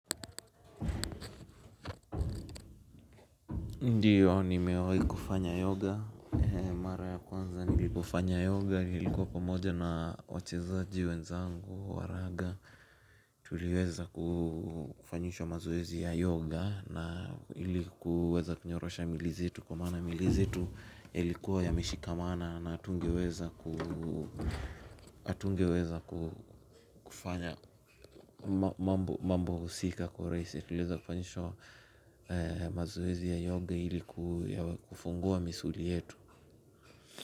Ndio nimewahi kufanya yoga mara ya kwanza nilipofanya yoga nilikuwa pamoja na wachezaji wenzangu wa raga tuliweza kufanyishwa mazoezi ya yoga na ili kuweza kunyorosha mwili zetu kwa maana mili zetu yalikuwa yameshikamana na hatungeweza kufanya mambo husika kwa urahisi tuliweza kufanyishwa mazoezi ya yoga ili kufungua misuli yetu.